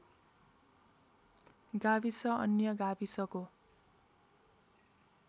गाविस अन्य गाविसको